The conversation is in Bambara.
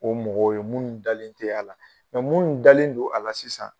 O mɔgɔw ye minnu dalen tɛ a la minnu dalen don a la sisan